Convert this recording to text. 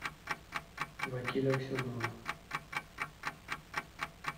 вакиль аксенова